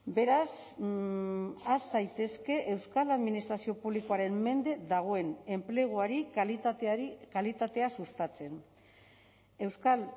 beraz has zaitezke euskal administrazio publikoaren mende dagoen enpleguari kalitateari kalitatea sustatzen euskal